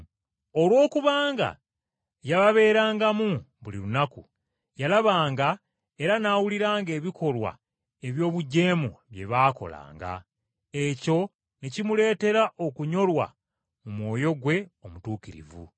Olw’okubanga yababeerangamu, buli lunaku, yalabanga era n’awuliranga ebikolwa eby’obujeemu bye baakolanga, ekyo ne kimuleetera okunyolwa mu mwoyo gwe omutuukirivu.